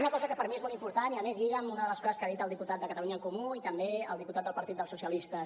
una cosa que per mi és molt important i a més lliga amb una de les coses que ha dit el diputat de catalunya en comú i també el diputat del partit dels socialistes